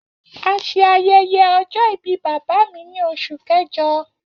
A ṣe ayẹyẹ ọjọ-ibi baba mi ni Oṣu Kẹjọ.